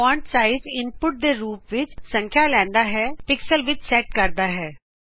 font size input ਦੇ ਰੂਪ ਵਿੱਚ ਸੰਖਿਆ ਲੈਂਦਾ ਹੈਂ ਪਿਕਸਲਜ਼ ਵਿੱਚ ਸੈਟ ਕਰਦਾ ਹੈਂ